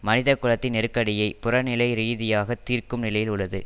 மனிதகுலத்தின் நெருக்கடியை புறநிலைரீதியாக தீர்க்கும் நிலையில் உள்ளது